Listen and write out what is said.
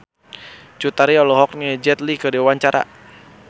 Cut Tari olohok ningali Jet Li keur diwawancara